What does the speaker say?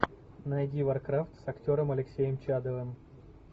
найди варкрафт с актером алексеем чадовым